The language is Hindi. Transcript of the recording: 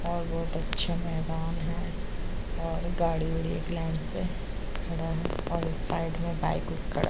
और बहौत अच्छा मैदान है और गाड़ी-गुड़ी एक लाइन से खड़ा है और साइड में बाइक भी खड़ा है।